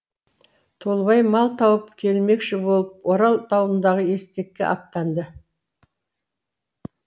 толыбай мал тауып келмекші болып орал тауындағы естекке аттанады